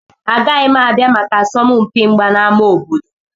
Agaghị m abịa maka asọmpi mgba na ámá obodo.